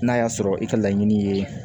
N'a y'a sɔrɔ i ka laɲini ye